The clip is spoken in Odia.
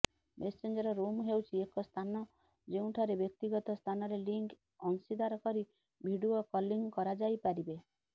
ମେସେଞ୍ଜର ରୁମ୍ ହେଉଛି ଏକ ସ୍ଥାନ ଯେଉଁଠାରେ ବ୍ୟକ୍ତିଗତ ସ୍ଥାନରେ ଲିଙ୍କ୍ ଅଂଶୀଦାର କରି ଭିଡିଓ କଲିଂ କରାଯାଇପାରିବେ